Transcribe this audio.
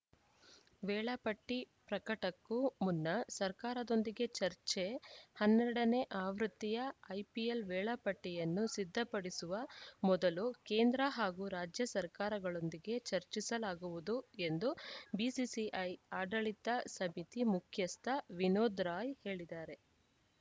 ವೇಳಾಪಟ್ಟಿಪ್ರಕಟಕ್ಕೂ ಮುನ್ನ ಸರ್ಕಾರದೊಂದಿಗೆ ಚರ್ಚೆ ಹನ್ನೆರಡ ನೇ ಆವೃತ್ತಿಯ ಐಪಿಎಲ್‌ ವೇಳಾಪಟ್ಟಿಯನ್ನು ಸಿದ್ಧಪಡಿಸುವ ಮೊದಲು ಕೇಂದ್ರ ಹಾಗೂ ರಾಜ್ಯ ಸರ್ಕಾರಗಳೊಂದಿಗೆ ಚರ್ಚಿಸಲಾಗುವುದು ಎಂದು ಬಿಸಿಸಿಐ ಆಡಳಿತ ಸಮಿತಿ ಮುಖ್ಯಸ್ಥ ವಿನೋದ್‌ ರಾಯ್‌ ಹೇಳಿದ್ದಾರೆ